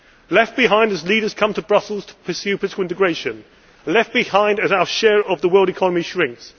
left behind as leaders come to Brussels to pursue political integration left behind as our share of the world economy shrinks